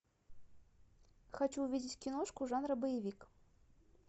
хочу увидеть киношку жанра боевик